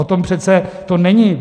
O tom to přece není.